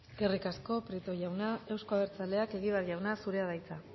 eskerrik asko prieto jauna euzko abertzaleak egibar jauna zurea da hitza